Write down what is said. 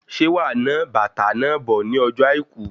Ṣe wà ná bàtá náà bò ní ọjọ àìkú?